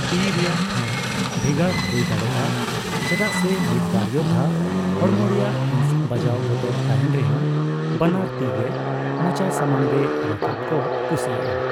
ᱛᱤ ᱨᱮᱭᱟᱜ ᱴᱷᱟᱣ ᱵᱷᱮᱜᱟᱨ ᱦᱳᱭ ᱫᱟᱲᱮᱭᱟᱜᱼᱟ, ᱪᱮᱫᱟᱜ ᱥᱮ ᱢᱤᱫ ᱵᱟᱨ ᱡᱚᱫᱽᱦᱟ ᱦᱚᱲᱢᱚ ᱨᱮᱭᱟᱜ ᱦᱤᱸᱥ ᱵᱟᱡᱟᱣ ᱵᱚᱛᱚᱨ ᱛᱟᱦᱮᱸᱱ ᱨᱮᱦᱚᱸ ᱵᱟᱱᱟᱨ ᱛᱤᱜᱮ ᱢᱚᱪᱟ ᱥᱟᱢᱟᱝ ᱨᱮ ᱨᱟᱠᱟᱵ ᱠᱚ ᱠᱩᱥᱤᱭᱟᱜᱼᱟ ᱾